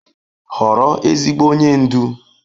Họrọ ezigbo onye ndu.